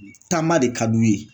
Taama de ka d'u ye